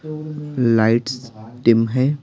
lights dim है--